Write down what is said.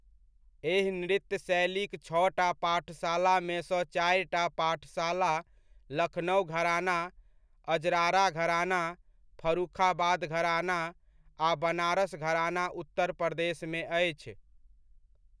एहि नृत्य शैलीक छओटा पाठशालामेसँ चारिटा पाठशाला लखनउ घराना, अजराड़ा घराना, फर्रुखाबाद घराना आ बनारस घराना उत्तर प्रदेशमे अछि।